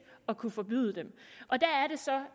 at kunne forbyde den og der er det så